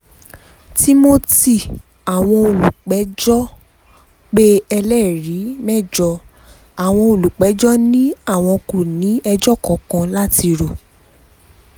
timothy àwọn olùpẹ̀jọ́ pé ẹlẹ́rìí mẹ́jọ àwọn olùjẹ́jọ́ ni àwọn kò ní ẹjọ́ kankan láti rò